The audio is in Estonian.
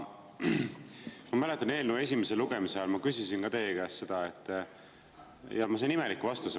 Ma mäletan, et eelnõu esimese lugemise ajal ma küsisin teie käest selle kohta, ja ma sain imeliku vastuse.